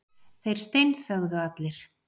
Þeir steinþögðu allir.